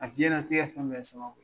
A diɲɛnatigɛ fɛn bɛ ye sababu ye.